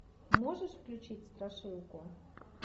можешь включить страшилку